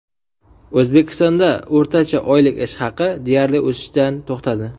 O‘zbekistonda o‘rtacha oylik ish haqi deyarli o‘sishdan to‘xtadi.